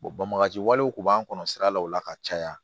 bɔn bagani walew tun b'an kɔnɔ sira la o la ka caya